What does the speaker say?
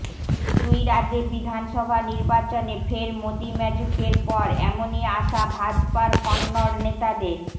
দুই রাজ্যে বিধানসভা নির্বাচনে ফের মোদী ম্যাজিকের পর এমনই আশা ভাজপার কন্নড় নেতাদের